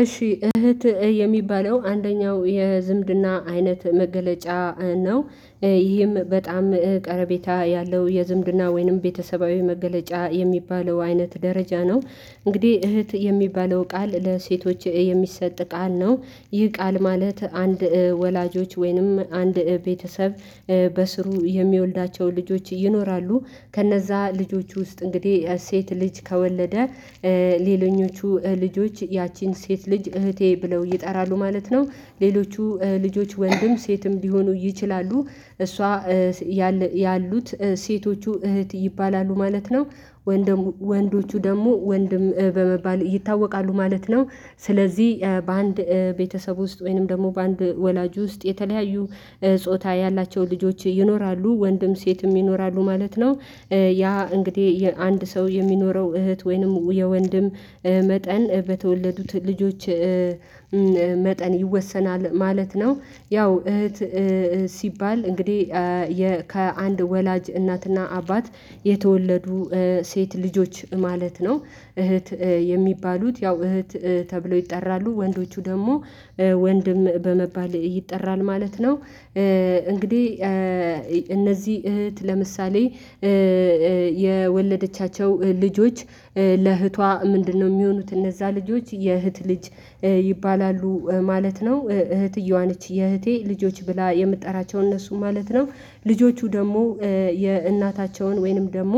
እሺ እህት የሚባለው አንደኛው የዝምድና አይነት መገለጫ ነው። ይህም በጣም ቀረቤታ ያለው የዝምድና ወይንም ቤተሰባዊ መገለጫ የሚባለው አይነት ደረጃ ነው። እንግዲህ እህት የሚባለው ቃል ለሴቶች የሚሰጥ ቃል ነው ይህ ቃል ማለት አንድ ወላጆች ወይንም አንድ ቤተሰብ በስሩ የሚወልዳቸው ልጆች ይኖራሉ ከነዛ ልጆች ውስጥ እንግዲህ ሴት ልጅ ከወለደ ሌለኞቹ ልጆች ያቺን ሴት ልጅ እህቴ ብለው ይጠራሉ ማለት ነው። ሌሎቹ ልጆች ወንድም ሴትም ሊሆኑ ይችላሉ። እሷ ያሉት ሴቶቹ እህት ይባላሉ ማለት ነው ወንድም ወንዶቹ ደግሞ ወንድም በመባል ይታወቃሉ ማለት ነው ስለዚህ በአንድ ቤተሰብ ውስጥ ወይንም ደግሞ በአንድ ወላጅ ውስጥ የተለያዩ ጾታ ያላቸው ልጆች ይኖራሉ ወንድም ሴትም ይኖራሉ ማለት ነው። ያ እንግዲህ አንድ ሰው የሚኖረው እህት ወይንም የወንድም መጠን በተወለዱት ልጆች መጠን ይወሰናል ማለት ነው። ያው እህት ሲባል እንግዲህ ከአንድ ወላጅ እናትና አባት የተወለዱ ሴት ልጆች ማለት ነው እህት የሚባሉት ያው እህት ተብለው ይጠራሉ ወንዶቹ ደግሞ ወንድም በመባል ይጠራሉ ማለት ነው እንግዲህ እነዚህ እህት ለምሳሌ የወለደቻቸው ልጆች ለእህቷ ምንድነው የሚሆኑት እነዛ ልጆች የእህት ልጅ ይባላሉ ማለት ነው። እህትየዋ ነች የእህቴ ልጆች ብላ የምትጠራቸው እነሱ ማለት ነው። ልጆቹ ደግሞ የእናታቸውን ወይንም ደግሞ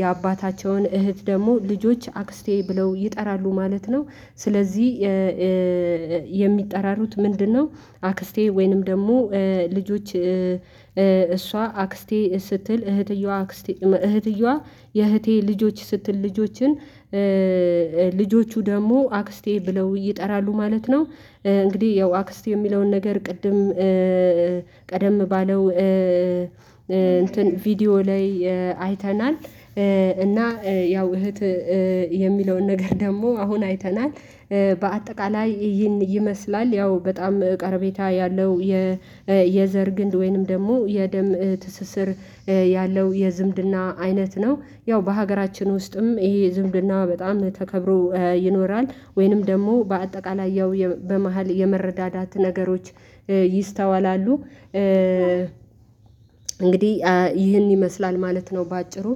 የአባታቸውን እህት ደግሞ ልጆች አክስቴ ብለው ይጠራሉ ማለት ነው ስለዚህ የሚጠራሩት ምንድነው አክስቴ ወይንም ደግሞ ልጆች እሷ አክስቴ ስትል እህትየዋ አክስቴ እህትየዋ የእህቴ ልጆች ስትል ልጆችን ልጆቹ ደግሞ አክስቴ ብለው ይጠራሉ ማለት ነው እንግዲህ ያው አክስት የሚለውን ነገር ቅድም ቀደም ባለው እንትን ቪዲዮ ላይ አይተናል እና ያው እህት የሚለውን ነገር ደግሞ አሁን አይተናል። በአጠቃላይ ይህን ይመስላል ያው በጣም ቅርቤታ ያለው የዘር ግንድ ወይንም ደግሞ የደም ትስስር ያለው የዝምድና አይነት ነው ያው በሀገራችን ውስጥም ይሄ ዝምድና በጣም ተከብሮ ይኖራል ወይንም ደግሞ በአጠቃላይ ያው በመሃል የመረዳዳት ነገሮች ይስተዋላሉ እንግዲህ ይህን ይመስላል ማለት ነው በአጭሩ